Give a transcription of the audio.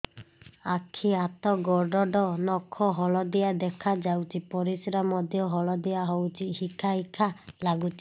ଆଖି ହାତ ଗୋଡ଼ର ନଖ ହଳଦିଆ ଦେଖା ଯାଉଛି ପରିସ୍ରା ମଧ୍ୟ ହଳଦିଆ ହଉଛି ହିକା ହିକା ଲାଗୁଛି